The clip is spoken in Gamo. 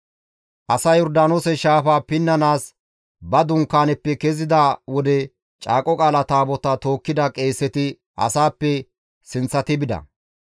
Asay Yordaanoose shaafaa pinnanaas ba dunkaaneppe kezida wode Caaqo Qaala Taabotaa tookkida qeeseti asaappe sinththati bida.